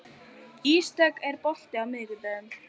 Ísdögg, er bolti á miðvikudaginn?